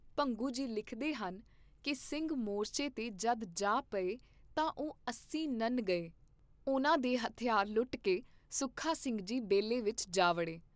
ਭੰਗੂ ਜੀ ਲਿਖਦੇ ਹਨ ਕੀ ਸਿੰਘ ਮੋਰਚੇ ਤੇ ਜਦ ਜਾ ਪਏ ਤਾਂ ਉਹ ਅਸੀਂ ਨੰਨ ਗਏ, ਉਹਨਾਂ ਦੇ ਹਥਿਆਰ ਲੁੱਟ ਕੇ ਸੁੱਖਾ ਸਿੰਘ ਜੀ ਬੇਲੇ ਵਿਚ ਜਾ ਵੜੇ।